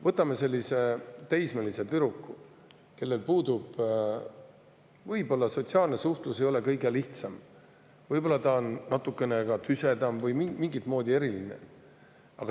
Võtame teismelise tüdruku, kelle jaoks võib-olla ei ole sotsiaalne suhtlus kõige lihtsam, võib-olla on ta natukene ka tüsedam või mingit moodi eriline.